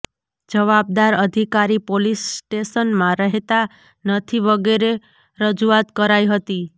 જવાબદાર અધિકારી પોલીસ સ્ટેશનમાં રહેતા નથીવગેરે રજૂઆત કરાઇ હતી